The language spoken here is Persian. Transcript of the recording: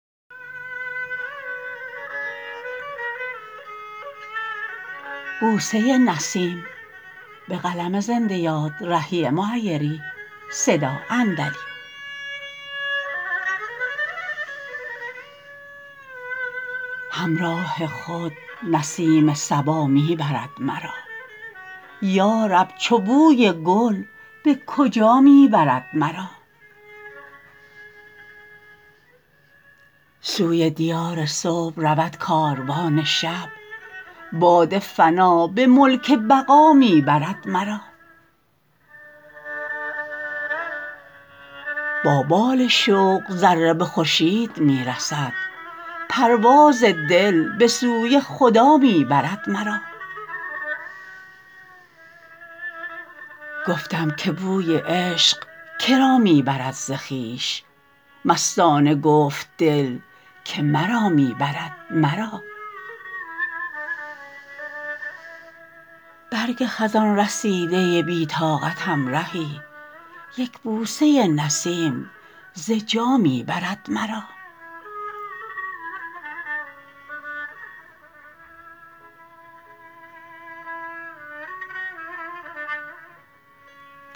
همراه خود نسیم صبا می برد مرا یا رب چو بوی گل به کجا می برد مرا سوی دیار صبح رود کاروان شب باد فنا به ملک بقا می برد مرا با بال شوق ذره به خورشید می رسد پرواز دل به سوی خدا می برد مرا گفتم که بوی عشق که را می برد ز خویش مستانه گفت دل که مرا می برد مرا برگ خزان رسیده بی طاقتم رهی یک بوسه نسیم ز جا می برد مرا